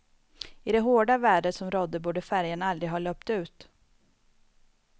I det hårda vädret som rådde borde färjan aldrig ha löpt ut.